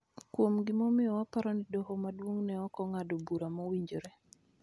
kuom gimomiyo waparo ni Doho Maduong� ne ok ong�ado bura mowinjore.